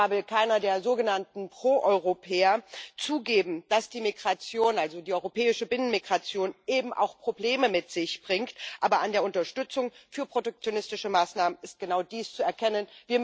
Zwar will keiner der sogenannten Proeuropäer zugeben, dass die Migration also die europäische Binnenmigration eben auch Probleme mit sich bringt, aber an der Unterstützung für protektionistische Maßnahmen ist genau dies zu erkennen.